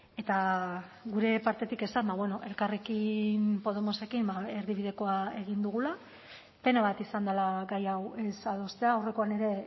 eta gure partetik esan elkarrekin podemosekin erdibidekoa egin dugula pena bat izan dela gai hau ez adostea aurrekoan ere